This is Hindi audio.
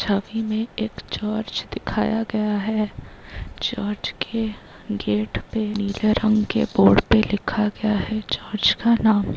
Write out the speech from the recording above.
छवि में एक चर्च दिखाया गया है चर्च के गेट पर नीले रंग के बोर्ड पर लिखा गया है चर्च का नाम।